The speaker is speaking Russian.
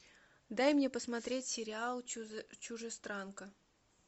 дай мне посмотреть сериал чужестранка